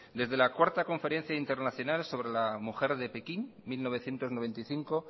desde la cuarta conferencia internacional sobre la mujer de pekín mil novecientos noventa y cinco